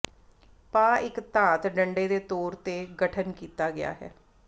ਪਾ ਇੱਕ ਧਾਤ ਡੰਡੇ ਦੇ ਤੌਰ ਤੇ ਗਠਨ ਕੀਤਾ ਗਿਆ ਹੈ